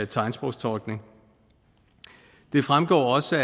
tegnsprogstolkning det fremgår også